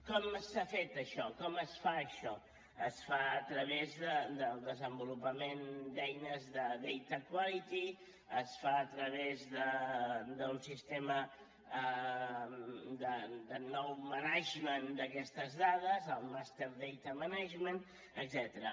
com s’ha fet això com es fa això es fa a través del desenvolupament d’eines de data quality es fa a través d’un sistema de nou management d’aquestes dades el master data management etcètera